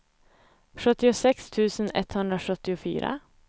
sjuttiosex tusen etthundrasjuttiofyra